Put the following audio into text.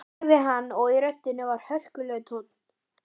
sagði hann og í röddinni var hörkulegur tónn.